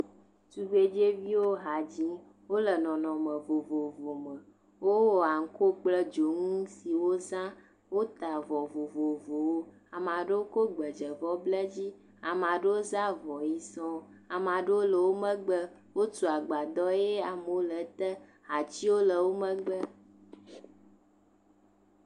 Tugbedzeviwo ha dzim wole nɔnɔme vovovo me, wowɔ aŋuko kple dzonu si woza, wota avɔ vovovowo ame aɖewo kɔ gbedzevɔ bla edzi ame aɖewo za avɔ ʋi sɔŋ, ame aɖewo le wo megbe wotu agbadɔ ʋi sɔŋ eye amewo le ete atiwo le wo megbe.